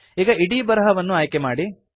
ಈಗ ಇಡೀ ಬರಹವನ್ನು ಆಯ್ಕೆಮಾಡಿ